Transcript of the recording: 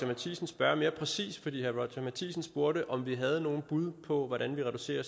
matthisen spørge mere præcist fordi herre roger courage matthisen spurgte om vi havde nogle bud på hvordan vi reducerer